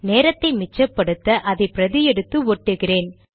நேரத்தை மிச்சப்படுத்த அதை பிரதி எடுத்து ஒட்டுகிறேன்